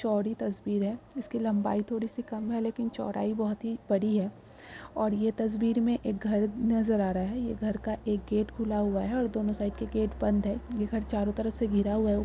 चौड़ी तस्वीर है इसकी लंबाई थोड़ी सी कम है लेकिन चौड़ाई बहुत ही बड़ी है और ये तस्वीर में एक घर नजर आ रहा है ये घर का एक गेट खुला हुआ है और दोनों साइड के गेट बंद है। ये घर चारों तरफ से घेरा हुआ है उ --